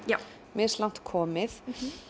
mislangt komið